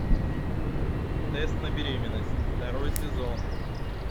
тест на беременность второй сезон